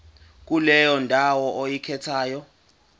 kuleyo ndawo oyikhethayo